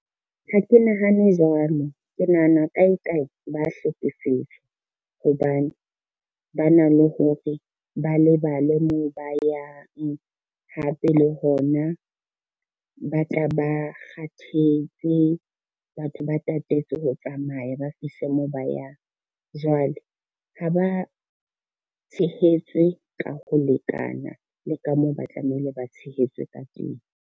Ha ke nahane jwalo, ke nahana kae kae ba hlekefetswa, hobane ba na le hore ba lebale moo ba yang, hape le hona ba tla ba kgathetse batho ba tatetse ho tsamaya, ba fihle mo ba yang. Jwale ha ba tshehetswe ka ho lekana le ka moo ba tlamehile ba tshehetswe ka teng.